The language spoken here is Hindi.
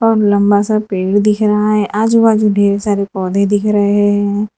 लंबा सा पेड़ दिख रहा है आजू बाजू ढेर सारे पौधे दिख रहे हैं।